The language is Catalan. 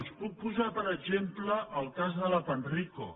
els en puc posar com a exemple el cas de la panrico